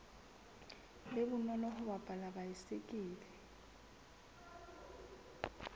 be bonolo ho palama baesekele